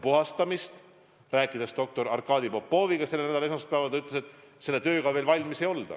Kui ma rääkisin doktor Arkadi Popoviga selle nädala esmaspäeval, siis ta ütles, et selle tööga veel valmis ei olda.